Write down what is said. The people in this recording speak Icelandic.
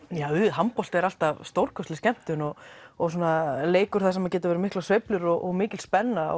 handbolti er alltaf stórkostleg skemmtun og og leikur þar sem þar geta verið miklar sveiflur og mikil spenna